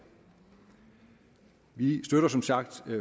vi støtter som sagt